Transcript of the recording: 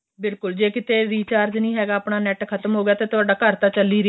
ਬਿਲਕੁਲ ਜੇ ਕਿਥੇ recharge ਨਹੀਂ ਹੈਗਾ ਆਪਣਾ NET pack ਖ਼ਤਮ ਹੋ ਗਿਆ ਤੇ ਤੁਹਾਡਾ ਘਰ ਤਾਂ ਚੱਲ ਹੀ ਰਿਹਾਂ